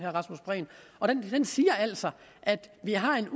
og den siger altså at vi har en